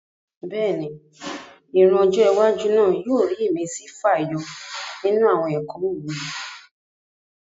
Bẹ́ẹ̀ni, ìran ọjọ́ iwájú náà yóò rí ìmísí fàyọ nínú àwọn ẹ̀kọ́ òwe